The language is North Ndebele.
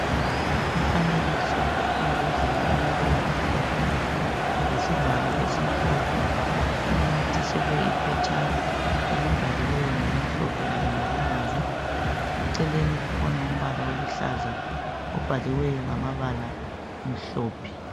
Umfanekiso wembodlela elombala omhlophe lesivalo esimhlophe inathiselwe iphetshana elibhaliweyo ngokumhlophe kanye lokubomvu. Eceleni kukhona umbala oluhlaza obhaliweyo ngamabala amhlophe.